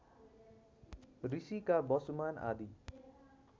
ऋषिका वसुमान आदि